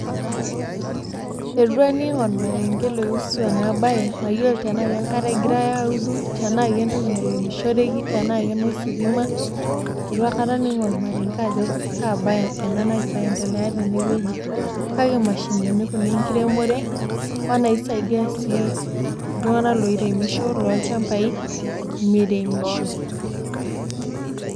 Itu aning' ormarenge oiusu ena bae, mayiolo tanaa enkare egirai audu, tanaa kegirai aremisho tanaa kenositima. Itu aikata aning' ormarenge ajo kaa bae ena nagira aendelea tenewueji, kake mashinini kuna enkiremore onaisaidia sii ltung'anak oiremisho lolchambai meremisho.